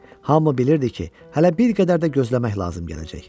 Hamı bilirdi ki, hələ bir qədər də gözləmək lazım gələcək.